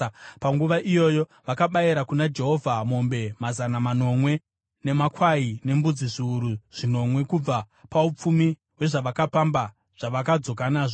Panguva iyoyo vakabayira kuna Jehovha mombe mazana manomwe, nemakwai nembudzi zviuru zvinomwe kubva paupfumi hwezvavakapamba zvavakadzoka nazvo.